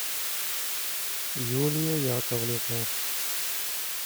юлия яковлевна